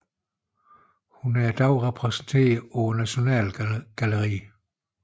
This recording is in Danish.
Hun er i dag repræsenteret på Nasjonalgalleriet